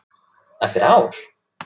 Eftir ár?